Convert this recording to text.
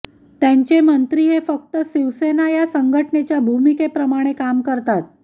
त्याचे मंत्री हे फक्त शिवसेना या संघटनेच्या भूमिकेप्रमाणे काम करतात